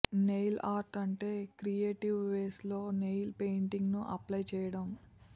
nail art అంటే creative ways లో nail paint ను అప్లై చేయడం